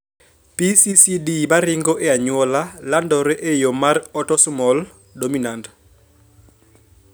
PCCD maringo e anyuola landore e yo mar autosomal dominant